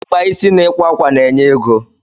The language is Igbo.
ịkpa isi na ịkwa ákwà na enye ego